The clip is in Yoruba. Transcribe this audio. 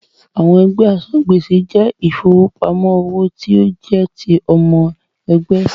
Àwọn ẹgbẹ́ asan-gbèsè jẹ́ ìfọwọ́sowọ́pọ̀ owó tí ó jẹ́ ti ọmọ ẹgbẹ́.